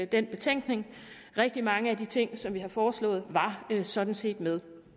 den betænkning rigtig mange af de ting som vi har foreslået var sådan set med